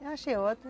Eu achei ótimo.